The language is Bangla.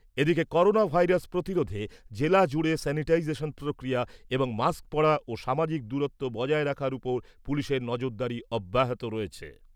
এদিকে, করোনা ভাইরাস প্রতিরোধে জেলা জুড়ে স্যানিটাইজেশন প্রক্রিয়া এবং মাস্ক পরা ও সামাজিক দূরত্ব বজায় রাখার উপর পুলিশের নজরদারি অব্যাহত রয়েছে।